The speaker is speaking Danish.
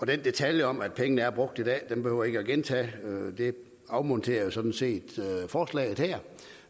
detaljen om at pengene er brugt i dag behøver jeg ikke gentage det afmonterer jo sådan set forslaget her